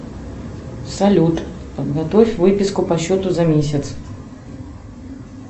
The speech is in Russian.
салют подготовь выписку по счету за месяц